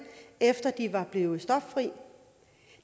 efter de var blevet stoffrie